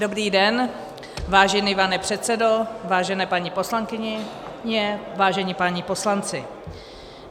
Dobrý den, vážený pane předsedo, vážené paní poslankyně, vážení páni poslanci.